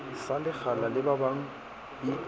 sa lekgala le babang e